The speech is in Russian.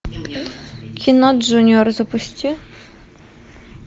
кино джуниор запусти